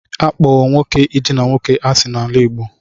A kpọro nwoke idina nwoke asị n'ala Igbo.